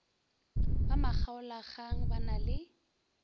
ba makgaolakgang ba na le